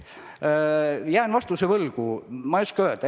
Jään praegu vastuse võlgu, ma ei oska midagi täpsemat öelda.